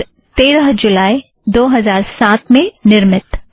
और तेरह जुलई दो हज़ार साथ में निर्मित